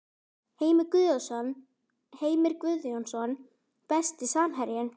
Heimir Guðjónsson Besti samherjinn?